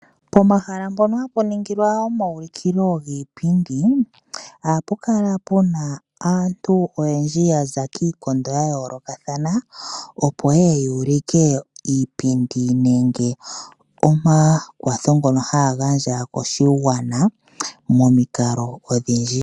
Pomahala mpono hapu ningilwa omaulikilo giipindi, ohapu kala puna aantu oyendji ya za kiikondo ya yoolokathana opo ye ye ya ulike iipindi nenge omakwatho ngono ha ya gandja koshigwana momikalo odhindji.